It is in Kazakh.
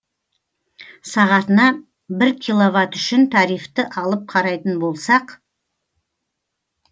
сағатына бір киловатт үшін тарифті алып қарайтын болсақ